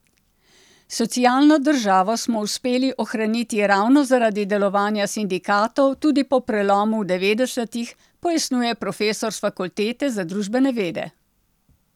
Socialno državo smo uspeli ohraniti ravno zaradi delovanja sindikatov tudi po prelomu v devetdesetih, pojasnjuje profesor s Fakultete za družbene vede.